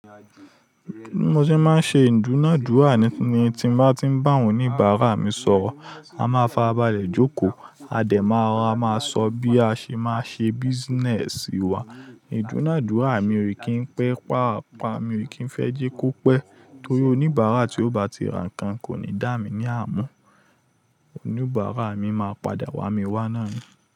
Bi mo se máa ń ṣe ìdúnàádúrà ní tí mo bá ti ń bá awon òníbara mi sọ̀rọ̀. A máa farabalẹ̀ jókòó, a dẹ̀ máa rora máa sọ bí a ṣe máa ṣe business wa. Ìdúnàádúrà mi o kí ń pẹ́ pa pá mi ò kí ń fẹ́ jẹ́ kó pẹ́ torí oníbàárà tí ò bá ti ra nǹkan kò ní dá mi ní àmú. Oníbàárà mi máa padà wá mi wá náà ni.